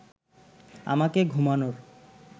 আমাকে ঘুমানোর